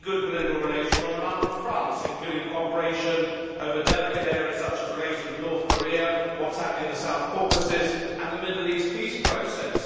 We need good political relations on a number of fronts, including cooperation over delicate areas such as relations with North Korea, what is happening in the South Caucasus, and the Middle East Peace Process.